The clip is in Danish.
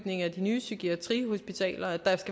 psykiatrien